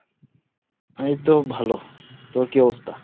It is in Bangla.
এই তো ভালো, তোর কি অবস্থা?